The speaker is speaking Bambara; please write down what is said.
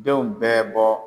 Denw bɛɛ bɔ